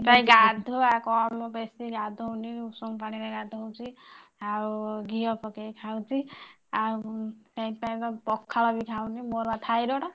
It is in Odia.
ଗାଧୁଆ କମ ବେଶି ଗାଧଉ ନାହି ଉଷୁମ ପାଣି ରେ ଗାଧଉଛି ଆଉ ଘିଅ ପକେଇକି ଖାଉଛି ଆଉ ସେଥିପାଇଁ ବା ପଖାଳ ବି ଖାଉନି। ମୋର ବା ଥାଇରେଡ